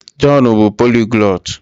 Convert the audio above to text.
Jọn bụ poliglọt.